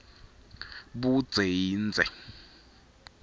budze yindze